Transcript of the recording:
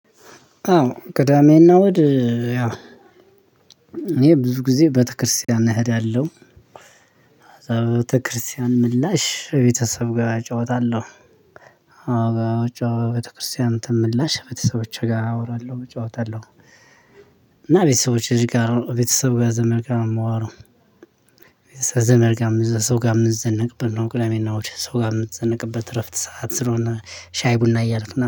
አዎ ቅዳሜና እሁድ። ያው እኔ ብዙ ጊዜ ቤተክርስትያን እሄዳለሁ። ከቤተክርስቲያን ምላሽ ቤተሰብ ጋር እጫወታለሁ። አዎ ጋር እጫወታለሁ ቤተክርስቲያን ተምላሽ ቤተሰቦቼ ጋር አወራለሁ እጫወታለሁ። እና ቤተሰቦቼ ጋር ቤተሰብ ጋር ዘመድጋም እማዋራው። ቤተሰብ ዘመድጋም እዛ ሰው ጋር የምንዘነቅበት ነው። ቅለሜና ወዲያ ሰው ጋር የምትዘነቅበት እረፍት ሰዓት ስለሆነ ሻይ ቡና እያልክ